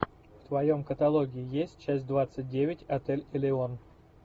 в твоем каталоге есть часть двадцать девять отель элеон